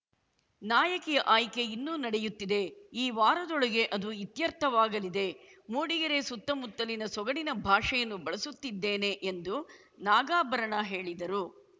ನಾಯಕಿಯ ಆಯ್ಕೆ ಇನ್ನೂ ನಡೆಯುತ್ತಿದೆ ಈ ವಾರದೊಳಗೆ ಅದು ಇತ್ಯರ್ಥವಾಗಲಿದೆ ಮೂಡಿಗೆರೆ ಸುತ್ತಮುತ್ತಲಿನ ಸೊಗಡಿನ ಭಾಷೆಯನ್ನು ಬಳಸುತ್ತಿದ್ದೇನೆ ಎಂದು ನಾಗಾಭರಣ ಹೇಳಿದರು